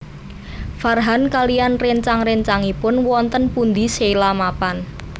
Farhan kaliyan réncang réncangipun wonten pundi Sheila mapan